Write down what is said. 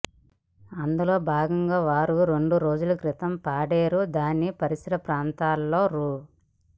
అందులో భాగంగా వారు రెండురోజుల క్రితం పాడేరు దాని పరిసర ప్రాంతాల్లో రూ